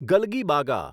ગલગીબાગા